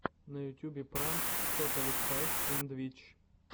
на ютьюбе пранк тоталли спайс энд витч